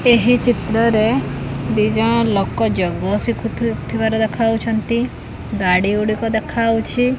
ଏହି ଚିତ୍ର ରେ ଦି ଜଣ ଲୋକ ଯୋଗ ଶିଖୁ ଥି ଥିବାର ଦେଖା ଯାଉଛନ୍ତି ଗାଡ଼ି ଗୁଡ଼ିକ ଦେଖା ଯାଉଛି।